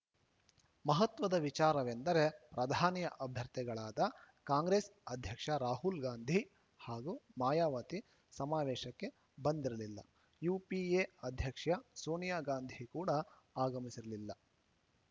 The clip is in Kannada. ಮಹತ್ವದ ವಿಚಾರವೆಂದರೆ ಪ್ರಧಾನಿ ಅಭ್ಯರ್ಥಿಗಳಾದ ಕಾಂಗ್ರೆಸ್‌ ಅಧ್ಯಕ್ಷ ರಾಹುಲ್‌ ಗಾಂಧಿ ಹಾಗೂ ಮಾಯಾವತಿ ಸಮಾವೇಶಕ್ಕೆ ಬಂದಿರಲಿಲ್ಲ ಯುಪಿಎ ಅಧ್ಯಕ್ಷ ಸೋನಿಯಾ ಗಾಂಧಿ ಕೂಡ ಆಗಮಿಸಿರಲಿಲ್ಲ